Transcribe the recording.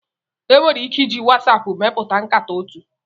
Enwere ike iji WhatsApp mepụta nkata otu.